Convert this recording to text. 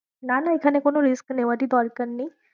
না না এখানে কোনো risk নেওয়ারই দরকার নেই।